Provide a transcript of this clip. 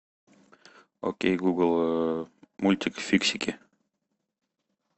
окей гугл мультик фиксики